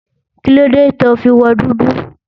Kílóde to fi wọ dúdú?